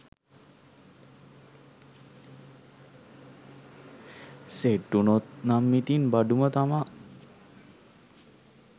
set වුණොත් නම් ඉතින් බඩුම තමා